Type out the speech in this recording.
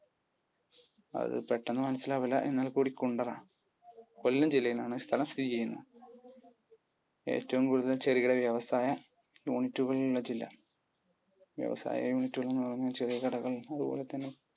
അത് പെട്ടെന്ന് മനസിലാവില്ല എന്നാൽ കൂടി കുണ്ടറ. കൊല്ലം ജില്ലയിലാണ് ഈ സ്ഥലം സ്ഥിതി ചെയ്യുന്നത്. ഏറ്റവും കൂടുതൽ ചെറുകിട വ്യവസായ യൂണിറ്റുകൾ ഉള്ള ജില്ല? വ്യവസായ യൂണിറ്റുകൾ എന്ന് പറയുമ്പോൾ ചെറിയ കടകൾ അതുപോലെതന്നെ